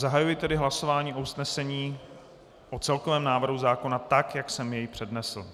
Zahajuji tedy hlasování o usnesení o celkovém návrhu zákona, tak jak jsem jej přednesl.